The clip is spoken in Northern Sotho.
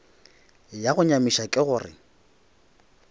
ya go nyamiša ke gore